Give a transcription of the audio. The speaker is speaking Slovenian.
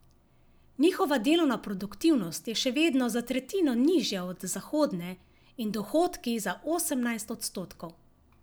Njihova delovna produktivnost je še vedno za tretjino nižja od zahodne in dohodki za osemnajst odstotkov.